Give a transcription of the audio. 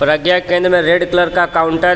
प्रज्ञा केंद्र मे red colour का counter हे. ओ--